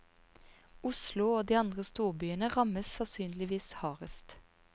Oslo og de andre storbyene rammes sannsynligvis hardest.